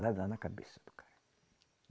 na cabeça do cara.